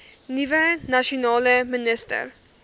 nuwe nasionale minister